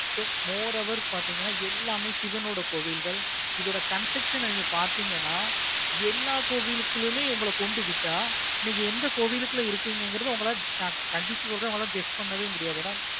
so more over பார்த்தீங்கன்னா எல்லாமே சிவன் ஓட கோவில்கள் அதோட construction பார்த்தீங்கன்னா எல்லா கோவிலுக்குள்ளையும் உங்கள கொண்டு விட்ட எந்த கோவிலுக்குள்ள இருக்கிங்ககிறது உங்களால சொல்றேன் உங்களால guess பண்ணவே முடியாது.